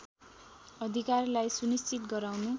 अधिकारलाई सुनिश्चित गराउनु